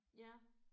Ja